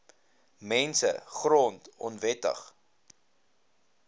mense grond onwettig